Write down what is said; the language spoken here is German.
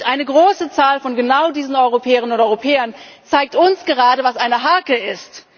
sind. Eine große Zahl von genau diesen Europäerinnen und Europäern zeigt uns gerade, was eine Harke